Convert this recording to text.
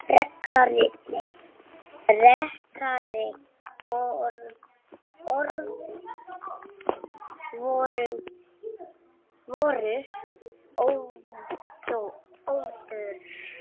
Frekari orð voru óþörf.